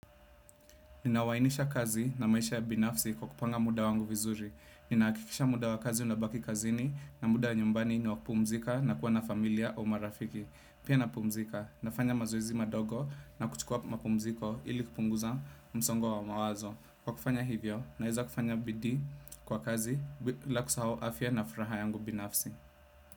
Ninawainisha kazi na maisha ya binafsi kwa kupanga muda wangu vizuri. Ninahakikisha muda wa kazi unabaki kazini na muda wa nyumbani ni wakupumzika na kuwa na familia au marafiki. Pia napumzika, nafanya mazoezi madogo na kuchukua mapumziko ili kupunguza msongo wa mawazo. kWa kufanya hivyo, naeza kufanya bidii kwa kazi bila kusahau afya na furaha yangu binafsi.